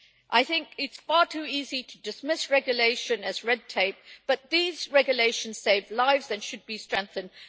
I think it is far too easy to dismiss regulation as red tape, but these regulations save lives and should be strengthened.